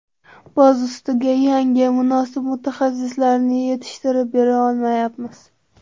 Boz ustiga, yangi, munosib mutaxassislarni yetishtirib bera olmayapmiz.